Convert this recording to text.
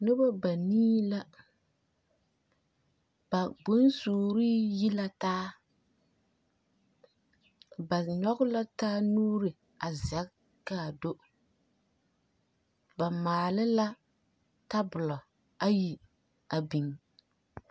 Noba banii la, ba bonsuurii yi la taa. Ba nyͻge la taa nuuri a zԑge kaa do. Ba maale la tabolͻ ayi a biŋ.